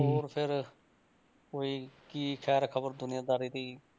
ਹੋਰ ਫਿਰ ਕੋਈ ਕੀ ਖੈਰ ਖ਼ਬਰ ਦੁਨੀਆਂ ਦਾਰੀ ਦੀ।